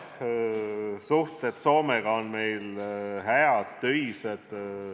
Suhted Soomega on meil head, töised.